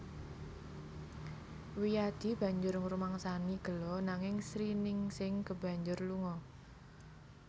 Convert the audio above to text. Wiyadi banjur ngrumangsani gelo nanging Sriningsing kebanjur lunga